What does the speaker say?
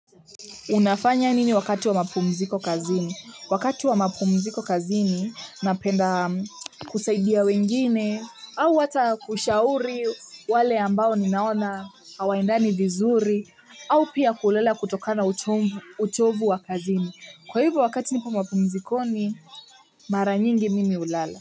Unafanya nini wakati wa mapumziko kazini? Wakati wa mapumziko kazini napenda kusaidia wengine au wata kushauri wale ambao ninaona hawaendani vizuri au pia kulala kutokana na uchovu wa kazini. Kwa hivyo wakati niko mapumzikoni mara nyingi mimi hulala.